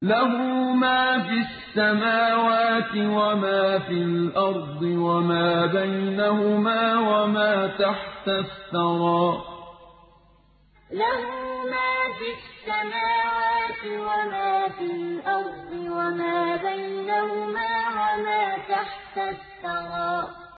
لَهُ مَا فِي السَّمَاوَاتِ وَمَا فِي الْأَرْضِ وَمَا بَيْنَهُمَا وَمَا تَحْتَ الثَّرَىٰ لَهُ مَا فِي السَّمَاوَاتِ وَمَا فِي الْأَرْضِ وَمَا بَيْنَهُمَا وَمَا تَحْتَ الثَّرَىٰ